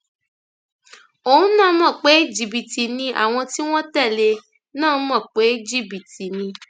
òun náà mọ pé jìbìtì ni àwọn tí wọn tẹlé e náà mọ mọ pé jìbìtì ni